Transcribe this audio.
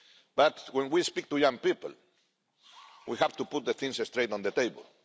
But when we speak to young people we have to put things straight on the table.